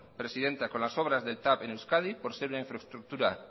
presidenta con las obras del tav en euskadi por ser una infraestructura